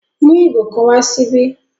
Mú igò kan wà síbí!